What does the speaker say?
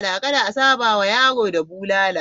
Kada a sauta ma yaro da bulala.